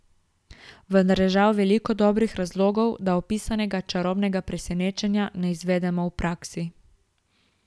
Vendar je žal veliko dobrih razlogov, da opisanega čarobnega presenečenja ne izvedemo v praksi.